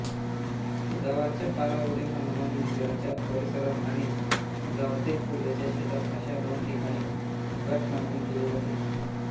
गावाच्या पारावरील हनुमान मंदिराच्या परिसरात आणि गावातील पूर्वेच्या शेतात अशा दोन ठिकाणी घटमांडणी केली जाते